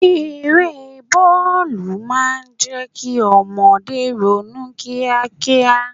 Eré bọ́ọ̀lù máa ń jẹ́ kí ọmọdé ronú kíá kíá.